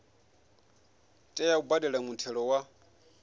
tea u badela muthelo wa